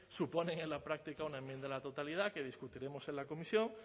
suponen en la práctica una enmienda a la totalidad que discutiremos en la comisión